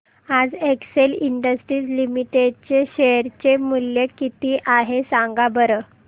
आज Excel Industries Limited चे share चे मूल्य किती आहे सांगा बरं